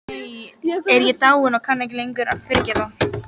Nú er ég dáin og kann ekki lengur að fyrirgefa.